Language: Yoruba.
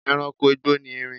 E̩ranko igbó ni erin